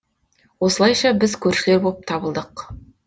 осылайша біз көршілер боп табылдық